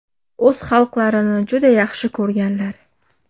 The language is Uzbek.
O‘z xalqlarini juda yaxshi ko‘rganlar.